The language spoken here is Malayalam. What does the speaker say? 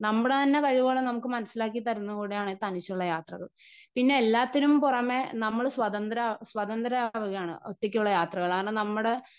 സ്പീക്കർ 1 നമ്മുടെതന്നെ കഴിവുകളും നമുക്ക് മനസ്സിലാക്കിത്തരുന്നത് കൂടെയാണ് തനിച്ചുള്ള യാത്രകൾ. പിന്നെ എല്ലാത്തിനും പുറമേ നമ്മുടെ സ്വതന്ത്ര സ്വതന്ത്രയാവുകയാണ് ഒറ്റക്കുള്ള യാത്രകൾ കാരണം നമ്മുടെ.